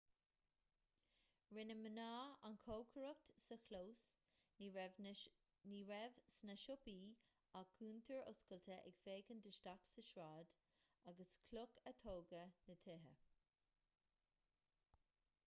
rinne mná an chócaireacht sa chlós ní raibh sna siopaí ach cuntair oscailte ag féachaint isteach sa tsráid as cloch a tógadh na tithe